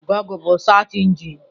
Gụgle bụ search engine.